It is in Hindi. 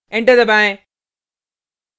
enter दबाएँ